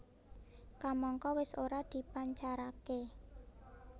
Kamangka wis ora dipancaraké